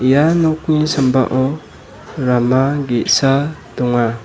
ia nokni sambao rama ge·sa donga.